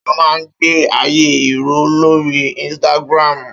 Áwòn éniyàn má n gbé àyé irò lóri instàgrámú